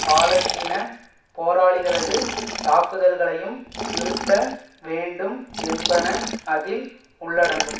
பாலஸ்தீன போராளிகளது தாக்குதல்களையும் நிறுத்த வேண்டும் என்பன அதில் உள்ளடங்கும்